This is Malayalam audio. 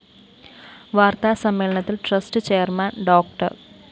വാര്‍ത്താ സമ്മേളനത്തില്‍ ട്രസ്റ്റ്‌ ചെയർമാൻ ഡോ